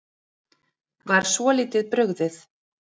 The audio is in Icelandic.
Var svolítið brugðið